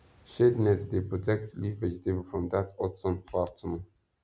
shade net dey protect leaf vegetable from that hot sun for afternoon